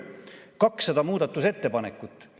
200 muudatusettepanekut.